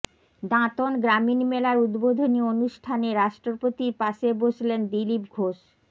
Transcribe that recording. দাঁতন গ্রামীণ মেলার উদ্বোধনী অনুষ্ঠানে রাষ্ট্রপতির পাশে বসলেন দিলীপ ঘোষ